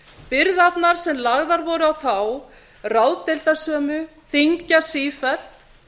byrðarnar sem lagðar voru á þá ráðdeildarsömu þyngjast sífellt